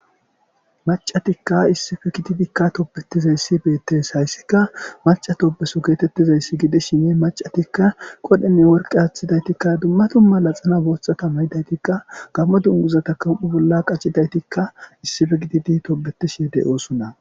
Macatikka issife gididikka topbetizayssi beettes hayssika maca toobeso geetettizayssi gidi shine macatikka qodhenne worqe haaththidaytikka dumma tumma la xana booththata mayidaytikka gammo dunguzata kam7u bolla qaccidaytikka issife gididi tobetish yedey oosunna